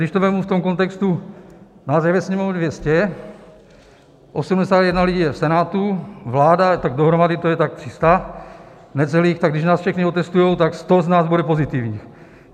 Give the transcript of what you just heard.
Když to vezmu v tom kontextu, nás je ve Sněmovně 200, 81 lidí je v Senátu, vláda, tak dohromady to je tak 300 necelých, tak když nás všechny otestují, tak 100 z nás bude pozitivních.